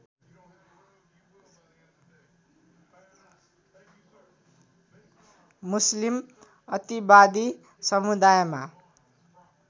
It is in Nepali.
मुस्लिम अतिवादी समुदायमा